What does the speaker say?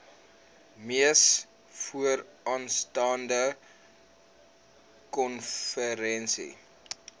mees vooraanstaande konferensie